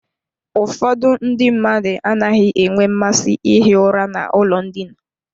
Ụfọdụ ndị mmadụ anaghị enwe mmasị ihi ụra n'ụlọ ndina.